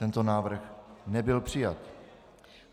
Tento návrh nebyl přijat.